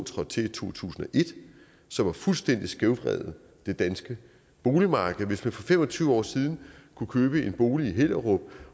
trådte til i to tusind og et som fuldstændig har skævvredet det danske boligmarked hvis man for fem og tyve år siden købte en bolig i hellerup